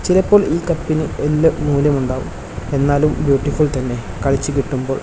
ലപ്പോൾ ഈ കപ്പിന് വലിയ മൂല്യം ഉണ്ടാകും എന്നാലും ബ്യൂട്ടിഫുൾ തന്നെ കളിച്ചു കിട്ടുമ്പോൾ.